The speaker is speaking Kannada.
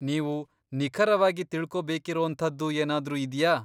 ನೀವು ನಿಖರವಾಗಿ ತಿಳ್ಕೊಬೇಕಿರೋಂಥದ್ದು ಏನಾದ್ರೂ ಇದ್ಯಾ?